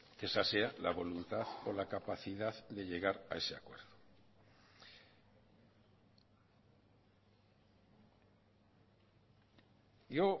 que esa sea la voluntad o la capacidad de llegar a ese acuerdo yo